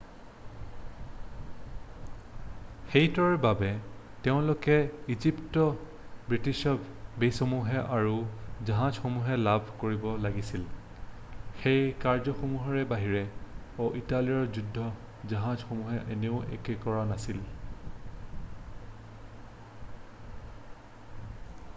সেইটোৰ বাবে তেওঁলোকে ইজিপ্তত ব্ৰিটিছ বেছসমূহ আৰু জাহাজসমূহ লাভ কৰিব লাগিছিল সেই কাৰ্য্যসমূহৰ বাহিৰেও ইটালীৰ যুদ্ধৰ জাহাজসমূহে আন একো কৰা নাছিল